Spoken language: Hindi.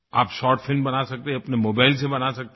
आप शॉर्ट फिल्म बना सकते हैं अपने मोबाइल से बना सकते हैं